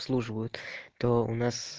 служу вот то у нас